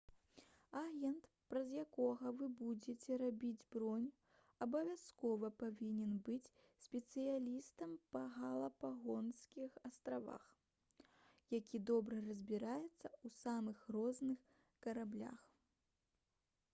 агент праз якога вы будзеце рабіць бронь абавязкова павінен быць спецыялістам па галапагоскіх астравах які добра разбіраецца ў самых розных караблях